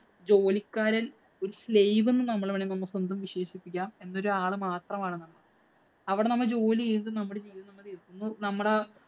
ജോലിക്കാരന്‍ ഒരു slave എന്ന് നമ്മള് വേണമെങ്കില്‍ നമുക്കൊന്ന് വിശേഷിപ്പിക്കാം. ഈ ഒരാള് മാത്രമാണ്. അവിടെ നമ്മള്‍ ജോലി ചെയ്യുന്നു. നമ്മടെ